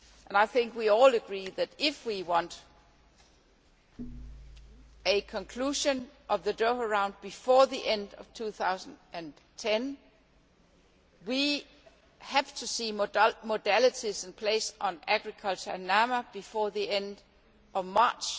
I think we all agree that, if we want a conclusion of the Doha Round before the end of 2010, we have to see modalities in place on agricultural and non agricultural market access before the end of March